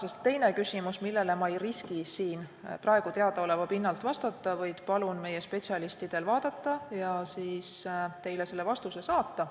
Täna teine küsimus, millele ma ei riski siin praegu vastata, vaid palun meie spetsialistidel vaadata ja teile vastuse saata.